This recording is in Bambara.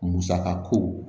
Musaka ko